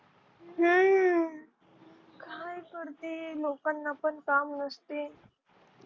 करते लोकांना पण काम नसते